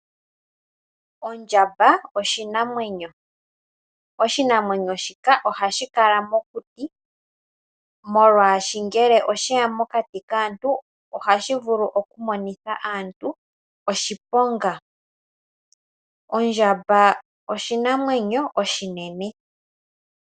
Ondjamba oyo oshinamwenyo. Oshinamwenyo shika ohashi kala mokuti, molwashoka ngele osheya mokati kaantu, ohashi vulu okumonitha aantu oshiponga. Ondjamba oshinamwenyo oshinene.